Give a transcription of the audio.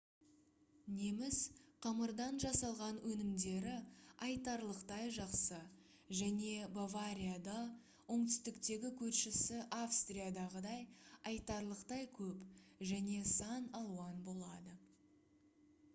неміс қамырдан жасалған өнімдері айтарлықтай жақсы және баварияда оңтүстіктегі көршісі австриядағыдай айтарлықтай көп және сан алуан болады